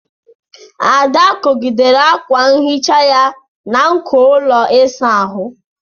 Ada kwụgidere akwa nhicha ya na nko ụlọ ịsa ahụ.